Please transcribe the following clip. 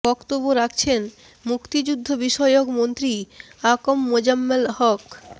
বক্তব্য রাখছেন মুক্তিযুদ্ধবিষয়ক মন্ত্রী আ ক ম মোজাম্মেল হক